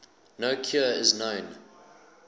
no cure is known